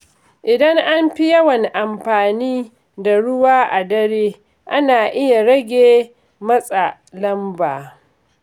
Idan an fi yawan amfani da ruwa a dare, ana iya rage matsa lamba.